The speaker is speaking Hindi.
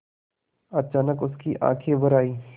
अचानक उसकी आँखें भर आईं